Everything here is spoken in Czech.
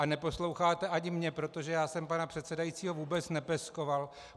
A neposloucháte ani mě, protože já jsem pana předsedajícího vůbec nepeskoval.